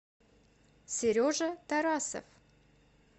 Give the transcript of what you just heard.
сережа тарасов